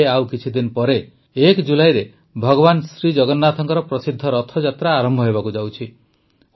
ଏବେ ଆଉ କିଛିଦିନ ପରେ ହିଁ ୧ ଜୁଲାଇରେ ଭଗବାନ ଜଗନ୍ନାଥଙ୍କ ପ୍ରସିଦ୍ଧ ରଥଯାତ୍ରା ଆରମ୍ଭ ହେବାକୁ ଯାଉଛି